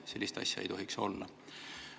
Sellist asja ei tohiks olla.